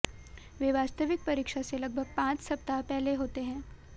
वे वास्तविक परीक्षा से लगभग पांच सप्ताह पहले होते हैं